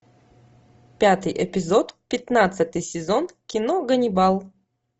пятый эпизод пятнадцатый сезон кино ганнибал